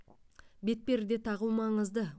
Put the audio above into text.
бетперде тағу маңызды